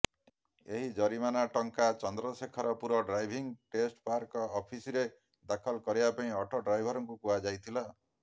ଏହି ଜରିମାନା ଟଙ୍କା ଚନ୍ଦ୍ରଶେଖରପୁର ଡ୍ରାଇଭିଂ ଟେଷ୍ଟ ପାର୍କ ଅଫିସରେ ଦାଖଲ କରିବାକୁ ଅଟୋ ଡ୍ରାଇଭରଙ୍କୁ କୁହାଯାଇଥିଲା